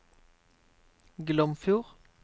Glomfjord